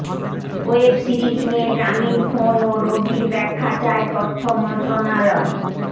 web series নিয়ে গ্রামীণফোন ও রবির ব্যাখ্যা চায় তথ্য মন্ত্রণালয়